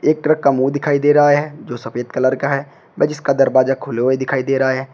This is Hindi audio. एक ट्रक का मुंह दिखाई दे रहा है जो सफेद कलर का है वे जिसका दरवाजा खुले हुए दिखाई दे रहा है।